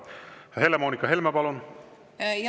Helle-Moonika Helme, palun!